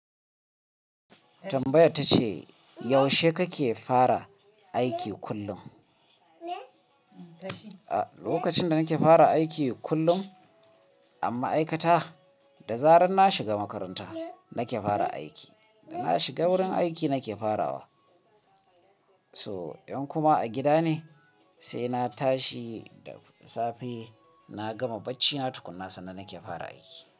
Tambayar ta ce, yaushe kake fara aiki kullum? Lokacin da nake fara aiki kullum, a ma 'aikata, da zarar na shiga makaranta nake fara aiki. Da na shiga wurin aiki nake farawa. So, in kuma a gida ne, sai na tashi da safe, na gama bacina tukuna sannan nake fara aiki.